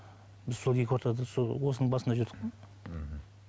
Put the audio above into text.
біз сол екі ортада сол осының басында жүрдік қой ммм